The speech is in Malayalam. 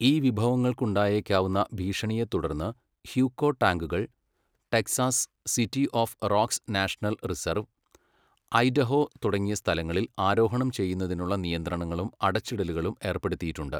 ഈ വിഭവങ്ങൾക്ക് ഉണ്ടായേക്കാവുന്ന ഭീഷണിയെത്തുടർന്ന് ഹ്യൂക്കോ ടാങ്കുകൾ, Texas, City of Rocks National Reserve, Idaho തുടങ്ങിയ സ്ഥലങ്ങളിൽ ആരോഹണം ചെയ്യുന്നതിനുള്ള നിയന്ത്രണങ്ങളും അടച്ചിടലുകളും ഏർപ്പെടുത്തിയിട്ടുണ്ട്.